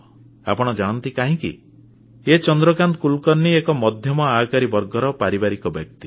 ଆପଣ ଜାଣନ୍ତି କାହିଁକି ଏ ଚନ୍ଦ୍ରକାନ୍ତ କୁଲକର୍ଣ୍ଣୀ ଏକ ମଧ୍ୟମ ଆୟକାରୀ ବର୍ଗର ପାରିବାରିକ ବ୍ୟକ୍ତି